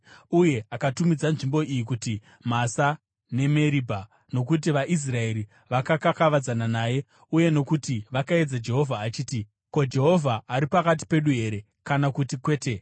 Uye akatumidza nzvimbo iyi kuti Masa neMeribha nokuti vaIsraeri vakakavadzana naye uye nokuti vakaedza Jehovha vachiti, “Ko, Jehovha ari pakati pedu here kana kuti kwete?”